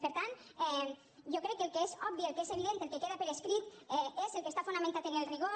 per tant jo crec que el que és obvi el que és evident el que queda per escrit és el que està fonamentat en el rigor